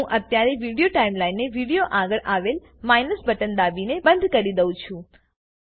હું અત્યારે વિડીયો ટાઈમલાઈનને વિડીયો આગળ આવેલ માઈનસ બટન દાબીને બંધ કરી દઉં છું